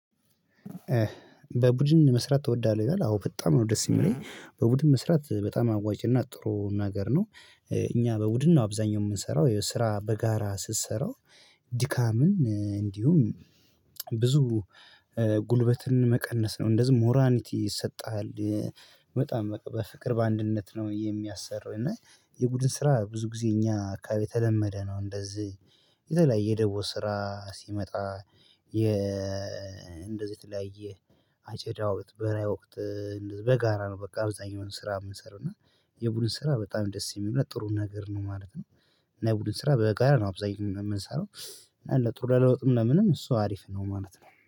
በቡድን መስራት ተወዳለህ? ይላል አዎ በጣም ነው ደስ የሚለኝ በቡድን መስራት በጣም አዋጭና ጥሩ ነገር ነው። እኛ በውድን ነው አብዛኛው የምንሰራው የስራ በጋራ ስሰራው። ድካምን እንዲሁም ብዙ ጉልበትን መቀነስ ነው እንደዚሁም ሞራኒቲ ይሰጥሃል። በጣም በቃ በፍቅር በአንድነት ነው የሚያሰር እና የቡድን ስራ ብዙ ጊዜ እኛ አካባቢ የተለመደ ነው እንደዚህ የተለያየ ደቦ ስራ ሲመጣ የ እንደዚህ የተለያየ አጨዳ ወቅት በራይ ወቅት በጋራ ነው። በቃ አብዛኛውን ስራ የምንሰራው እና የቡድን ስራ በጣም ደስ የሚል ጥሩ ነገር ነው ማለት ነው። እና የቡድን ስራ በጋራ ነው አብዛኛው የምንሰራው እና ለጥሩ ለለውጥም ለምንም እሱ አሪፍ ነው ማለት ነው